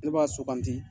Ne b'a sugandi